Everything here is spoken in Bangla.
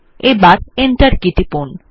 এবার এন্টার কী টিপুন